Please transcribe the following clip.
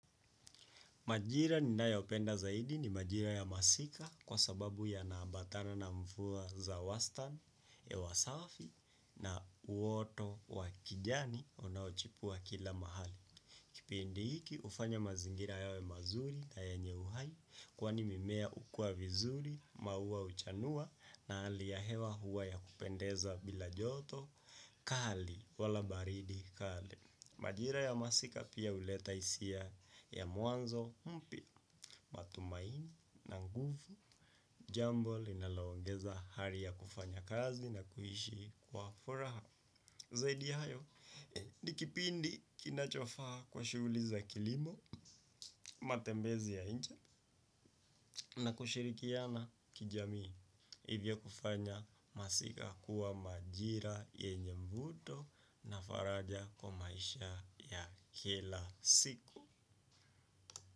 Majira nina ya openda zaidi ni majira ya masika, kwa sababu yanambatana na mfuwa za wastan ya hewa safi na uoto wa kijani onaochipua kila mahali. Kipindi hiki, ufanya mazingira yawe mazuri na yenye uhai kwani mimea ukua vizuri, maua uchanua na aliyahewa huwa ya kupendeza bila joto, kali wala baridi kali. Majira ya masika pia, huleta isia ya mwanzo, mpi, matumaini, nanguvu, jambo linaloongeza hari ya kufanya kazi na kuishi kwa furaha. Zaidi ya hayo, nikipindi kinachofaa kwa shughli za kilimo matembezi ya inje na kushirikiana kijamii. Hivya kufanya masika kuwa majira yenye mvuto na faraja kwa maisha ya kila siku.